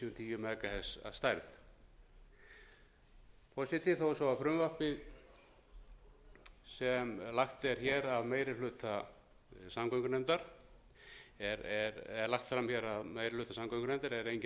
tíu mhz að fært forseti þó svo að frumvarpið sem lagt er hér sé lagt fram af meiri hluta ásamt núll öngunefndar er enginn